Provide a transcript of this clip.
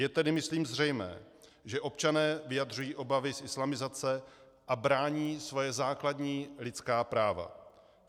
Je tedy myslím zřejmé, že občané vyjadřují obavy z islamizace a brání svoje základní lidská práva.